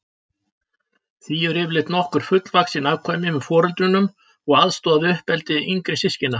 Því eru yfirleitt nokkur fullvaxin afkvæmi með foreldrunum og aðstoða við uppeldi yngri systkina.